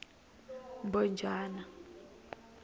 mbhojana